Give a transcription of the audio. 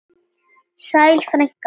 Sæl frænka mín.